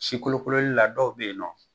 Si kolokololi la dɔw bɛ yen nɔ.